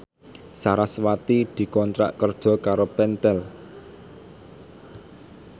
sarasvati dikontrak kerja karo Pentel